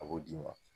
A b'o d'i ma